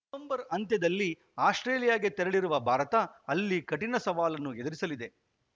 November ಅಂತ್ಯದಲ್ಲಿ ಆಸ್ಪ್ರೇಲಿಯಾಗೆ ತೆರಳಲಿರುವ ಭಾರತ ಅಲ್ಲಿ ಕಠಿಣ ಸವಾಲನ್ನು ಎದುರಿಸಲಿದೆ